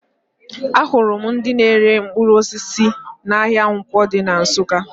Ahụrụ m ndị na-ere mkpụrụ osisi n'ahịa Nkwọ dị na Nsụka